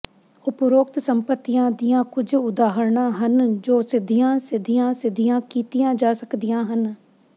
ਉਪਰੋਕਤ ਸੰਪਤੀਆਂ ਦੀਆਂ ਕੁਝ ਉਦਾਹਰਨਾਂ ਹਨ ਜੋ ਸਿੱਧੀਆਂ ਸਿੱਧੀਆਂ ਸਿੱਧੀਆਂ ਕੀਤੀਆਂ ਜਾ ਸਕਦੀਆਂ ਹਨ